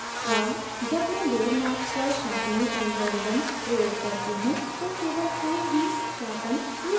अब जब मैं layer mask पर sharpening algorithm sharpening algorithm प्रयोग करती हूँ तो केवल फूल ही शार्पन किया जायेगा